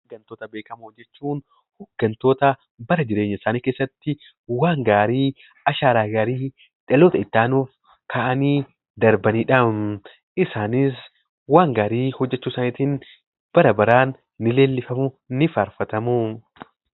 Hooggantoota beekamoo jechuun hooggantoota bara jireenyasaanii keessatti waan gaarii ashaaraa gaarii dhaloota itti aanuf kaa'anii darbanidhaa. Isaanis waan gaarii hojjechuusaaniitiin barabaraan ni leellifamu, ni faarfatamuu.